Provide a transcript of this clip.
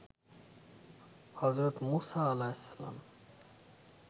হযরত Musa আঃ